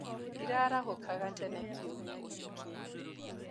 Ndĩraarahũkaga tene kiumia gĩkĩ.